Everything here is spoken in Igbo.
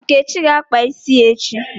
Nkechi ga-akpa isi ya echi